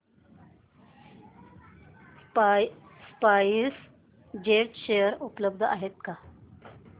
spice jet चे share उपलब्ध आहेत का